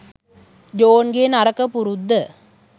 ජෝන්ගේ නරක පුරුද්ද.